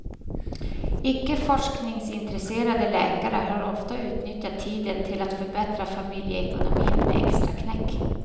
Icke forskningsintresserade läkare har ofta utnyttjat tiden till att förbättra familjeekonomin med extraknäck.